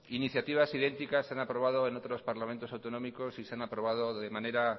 iniciativas idénticas se han aprobado en otros parlamentos autonómicos y se han aprobado de manera